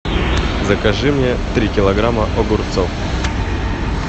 закажи мне три килограмма огурцов